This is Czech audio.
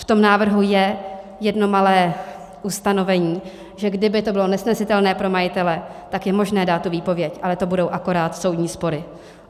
V tom návrhu je jedno malé ustanovení, že kdyby to bylo nesnesitelné pro majitele, tak je možné dát tu výpověď, ale to budou akorát soudní spory.